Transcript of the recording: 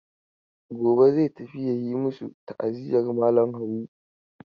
Gobe zai tafi ya yi masu ta'aziyar malam Habu.